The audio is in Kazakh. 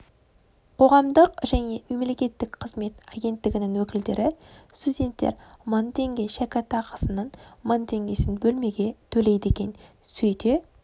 қоғамдық және мемлекеттік қызмет агенттігінің өкілдері студенттер мың теңге шәкіртақысының мың теңгесін бөлмеге төлейді екен сөйте